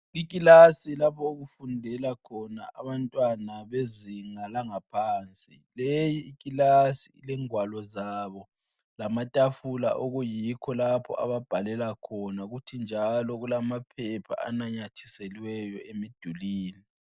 Ikilasi lapho okufundela khona abantwana bezinga langaphansi. Leyiklasi lengwalo zabo lamatafula okuyikho lapho ababhalela khona. Kuthi njalo kulamaphepha ananyathiseliweyo emdulini.